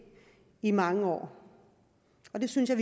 i mange år det synes jeg